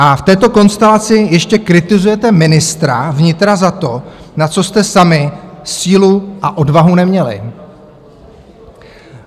A v této konstelaci ještě kritizujete ministra vnitra za to, na co jste sami sílu a odvahu neměli.